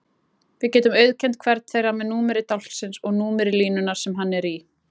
Við getum auðkennt hvern þeirra með númeri dálksins og númeri línunnar sem hann er í.